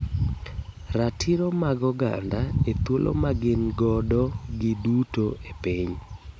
Ratiro mag oganda e thuolo ma gin godo gi duto e piny